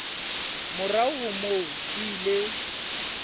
morao ho moo o ile